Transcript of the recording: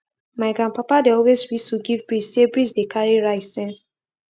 my grandpapa dey always whistle give breeze say breeze dey carry rice sense